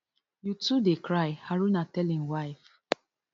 you too dey cry haruna tell im wife